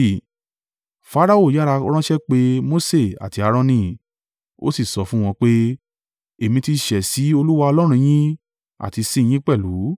Farao yára ránṣẹ́ pe Mose àti Aaroni, ó sì sọ fún wọn pé, “Èmi ti ṣẹ̀ sí Olúwa Ọlọ́run yín àti sí i yín pẹ̀lú.